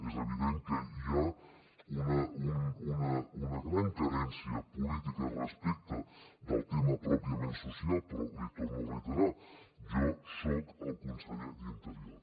és evident que hi ha una gran carència política respecte del tema pròpiament social però l’hi torno a reiterar jo soc el conseller d’interior